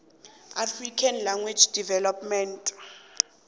african language development